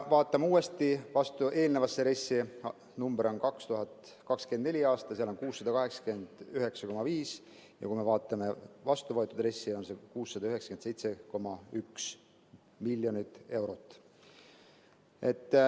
Vaatame uuesti eelnevasse RES‑i, see number 2024. aastaks on 689,5, ja kui me vaatame vastuvõetud RES‑i, on see 697,1 miljonit eurot.